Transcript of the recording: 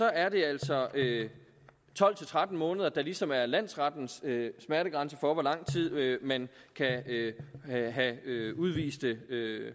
er det altså tolv til tretten måneder der ligesom er landsrettens smertegrænse for hvor lang tid man kan have udviste